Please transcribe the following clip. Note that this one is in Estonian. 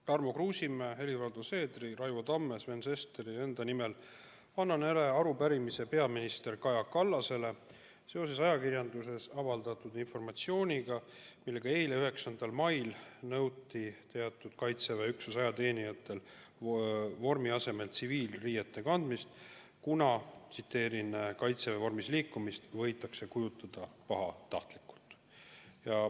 Tarmo Kruusimäe, Helir-Valdor Seederi, Raivo Tamme, Sven Sesteri ja enda nimel annan üle arupärimise peaminister Kaja Kallasele seoses ajakirjanduses avaldatud informatsiooniga, mille järgi eile, 9. mail nõuti Kaitseväe teatud üksuse ajateenijatel vormi asemel tsiviilriiete kandmist, kuna Kaitseväe vormis liikumist võidakse pahatahtlikult.